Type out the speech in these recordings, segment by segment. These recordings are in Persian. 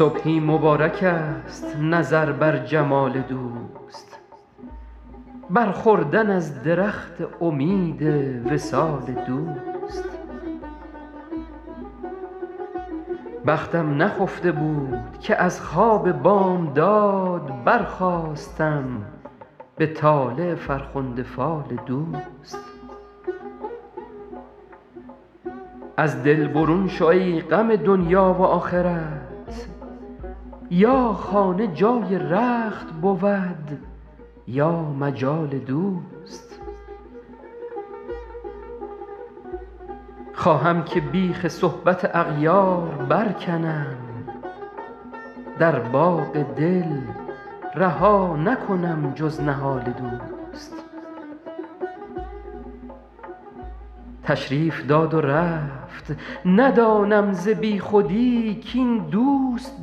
صبحی مبارکست نظر بر جمال دوست بر خوردن از درخت امید وصال دوست بختم نخفته بود که از خواب بامداد برخاستم به طالع فرخنده فال دوست از دل برون شو ای غم دنیا و آخرت یا خانه جای رخت بود یا مجال دوست خواهم که بیخ صحبت اغیار برکنم در باغ دل رها نکنم جز نهال دوست تشریف داد و رفت ندانم ز بیخودی کاین دوست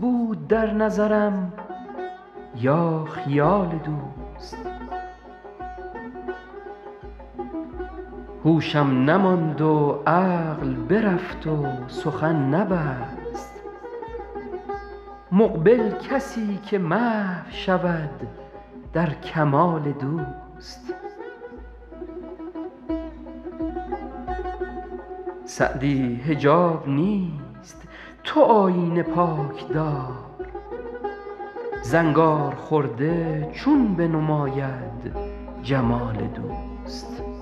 بود در نظرم یا خیال دوست هوشم نماند و عقل برفت و سخن نبست مقبل کسی که محو شود در کمال دوست سعدی حجاب نیست تو آیینه پاک دار زنگارخورده چون بنماید جمال دوست